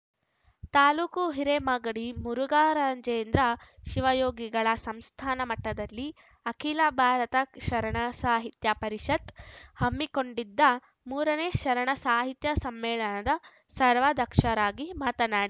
ತಾಲೂಕು ಹಿರೆಮಾಗಡಿ ಮುರುಘರಾಜೇಂದ್ರ ಶಿವಯೋಗಿಗಳ ಸಂಸ್ಥಾನ ಮಠದಲ್ಲಿ ಅಖಿಲ ಭಾರತ ಶರಣ ಸಾಹಿತ್ಯ ಪರಿಷತ್‌ ಹಮ್ಮಿಕೊಂಡಿದ್ದ ಮೂರನೇ ಶರಣ ಸಾಹಿತ್ಯ ಸಮ್ಮೇಳನದ ಸರ್ವಾಧ್ಯಕ್ಷರಾಗಿ ಮಾತನಾ